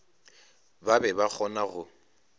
ba be ba kgona go